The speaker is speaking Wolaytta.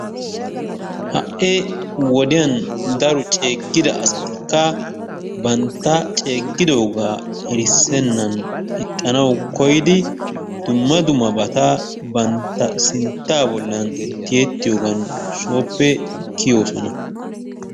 Ha'i woddiyaan daro ceegidda asattika bantta ceegidoga erissenaani ixannau koyidi dumma dummabatta bantta sintta bollan tiyettiyogan sooppe kiyossona